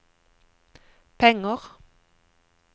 penger